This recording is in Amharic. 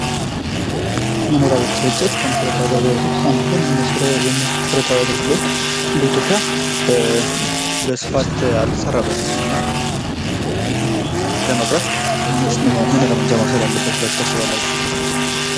መኖሪያ ቤቶች ስርጭት ከመሠረታዊ አገልግሎቶች ውስጥ አንዱ ነው ይኽም መሰረታዊ አገልግሎት በኢትዮጵያ በሰፋት አልተሰራበትም እና ይኽን ለመቅረፍ መንግስት ምን እርምጃ መውሰድ አለበት ብላችሁ ታስባላችሁ?